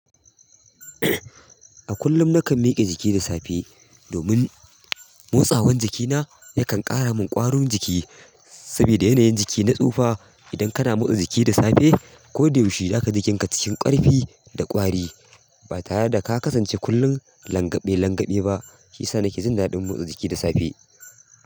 A kullum nakan mike jiki da safe domin motsawan jikina yakan ƙara min ƙwarun jiki sabida yanayin jiki na tsufa. Idan kana motsa jiki da safe ko da yaushe, zaka ji kanka cikin ƙarfi da ƙwari ba tare da ka kasance kullum langaɓe langaɓe ba. Shiyasa nake jin daɗin motsa jiki da safe.